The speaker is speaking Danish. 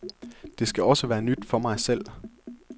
Det skal også være nyt for mig selv.